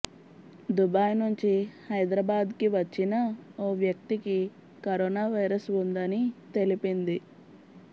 Dubai నుంచి హైదరాబాద్కి వచ్చిన ఓ వ్యక్తికి కరోనా వైరస్ ఉందని తెలిపింది